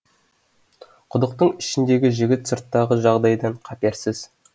құдықтың ішіндегі жігіт сырттағы жағдайдан қаперсіз